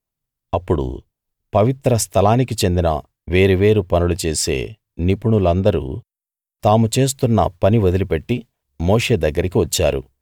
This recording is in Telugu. అప్పుడు పవిత్ర స్థలానికి చెందిన వేరు వేరు పనులు చేసే నిపుణులందరూ తాము చేస్తున్న పని వదిలిపెట్టి మోషే దగ్గరికి వచ్చారు